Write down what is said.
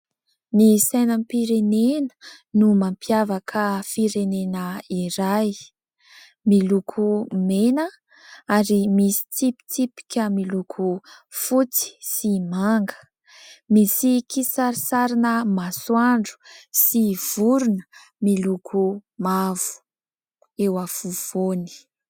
Ny sainam-pirenena no mampiavaka firenena iray. Miloko mena ary misy tsipitsipika miloko fotsy sy manga, misy kisarisary masoandro sy vorona miloko mavo eo afovoany.